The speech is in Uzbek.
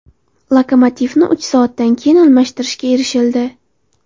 Lokomotivni uch soatdan keyin almashtirishga erishildi.